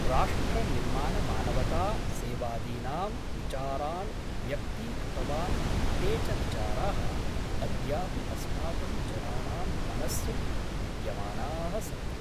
राष्ट्रनिर्माणमानवता सेवादीनां विचारान् व्यक्तीकृतवान् ते च विचाराः अद्यापि अस्माकं जनानां मनस्सु विद्यामानाः सन्ति।